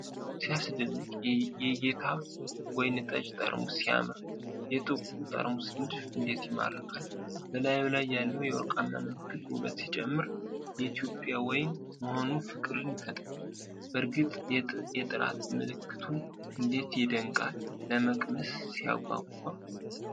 ሲያስደንቅ! የጌታ ወይን ጠጅ ጠርሙስ ሲያምር! የጥቁሩ ጠርሙስ ንድፍ እንዴት ይማርካል! በላዩ ላይ ያለው የወርቃማ ምልክት ውበት ሲጨምር! የእትዮጵያ ወይን መሆኑ ፍቅርን ይፈጥራል! በእርግጥ የጥራት ምልክቱ እንዴት ይደነቃል! ለመቅመስ ሲያጓጓ!